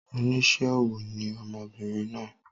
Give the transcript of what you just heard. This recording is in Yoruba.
Onísé ọwọ́ ni ọmọbìnrin naa